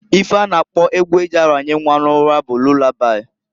Ife a na-akpo egwu eji aranye nnwa n'ụra bụ lulabai.